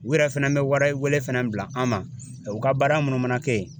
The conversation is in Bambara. U yɛrɛ fɛnɛ bɛ warɛ wele fana bila an ma u ka baara munnu mana kɛ yen